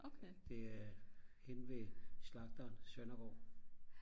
det er henne ved slagteren Søndergaad